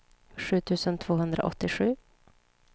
sju tusen tvåhundraåttiosju